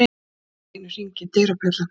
Allt í einu hringir dyrabjallan.